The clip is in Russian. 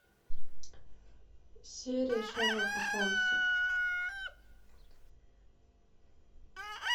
серии шерлока хомса